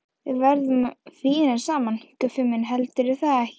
Við verðum fínir saman, Guffi minn, heldurðu það ekki?